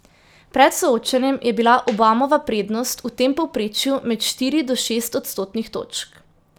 Pred soočenjem je bila Obamova prednost v tem povprečju med štiri do šest odstotnih točk.